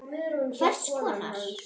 Hvers konar.